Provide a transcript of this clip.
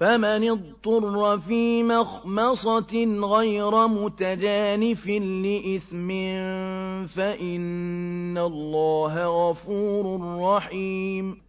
فَمَنِ اضْطُرَّ فِي مَخْمَصَةٍ غَيْرَ مُتَجَانِفٍ لِّإِثْمٍ ۙ فَإِنَّ اللَّهَ غَفُورٌ رَّحِيمٌ